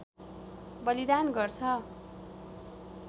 बलिदान गर्छ